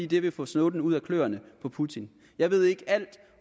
det vil få snowden ud af kløerne på putin jeg ved ikke alt